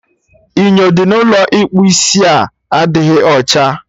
Inyo dị n'Ụlọ ịkpụ isia adịghị ọcha